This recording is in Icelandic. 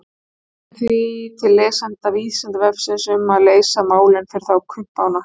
Við leitum því til lesenda Vísindavefsins um að leysa málin fyrir þá kumpána.